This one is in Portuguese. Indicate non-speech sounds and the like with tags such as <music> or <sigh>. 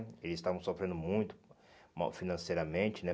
Eles estavam sofrendo muito <unintelligible> financeiramente, né?